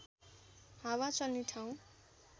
हावा चल्ने ठाउँ